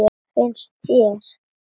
Finnst þér?